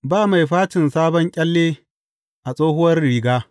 Ba mai facin sabon ƙyalle a tsohuwar riga.